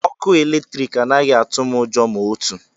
Ọkụ eletrik anaghị atụ m ụjọ ma otu.